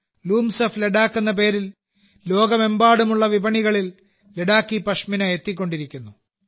looms of Ladakh എന്ന പേരിൽ ലോകമെമ്പാടുമുള്ള വിപണികളിൽ ലഡാക്കി പഷ്മിന എത്തിക്കൊണ്ടിരിക്കുന്നു